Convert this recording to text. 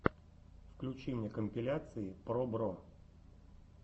включи мне компиляции пробро